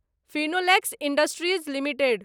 Finolex industries limited